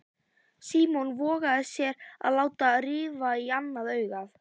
Símon vogaði sér að láta rifa í annað augað.